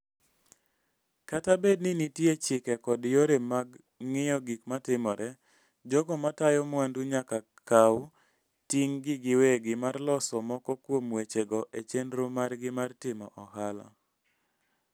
Kata bed ni nitie chike kod yore mag ng'iyo gik matimore, jogo matayo mwandu nyaka kaw ting'gi giwegi mar loso moko kuom wechego e chenro margi mar timo ohala.